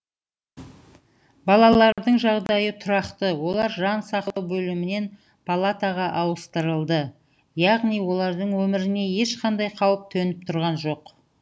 балалардың жағдайы тұрақты олар жан сақтау бөлімінен палатаға ауыстырылды яғни олардың өміріне ешқандай қауіп төніп тұрған жоқ